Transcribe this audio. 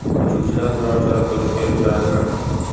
Uchuvchilar biror chora ko‘rishga ulguradimi?